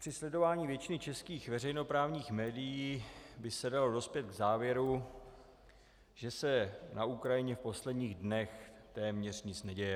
Při sledování většiny českých veřejnoprávních médií by se dalo dospět k závěru, že se na Ukrajině v posledních dnech téměř nic neděje.